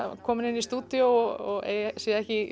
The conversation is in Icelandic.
komin inn í stúdíó og sé ekki